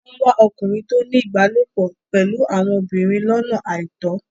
Wọ́n ń wá okùnrin tó ń ní ìbálòpọ̀ pẹ̀lú àwọn obìnrin lọ́nà àìtọ́.